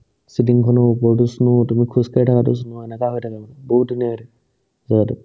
চিলিংখনৰ ওপৰতো snow তাৰপিছত খোজকাঢ়ি থাকাতেও snow এনেকা হৈ থাকে মানে বহুত ধুনীয়া হৈ থাকে জাগাতো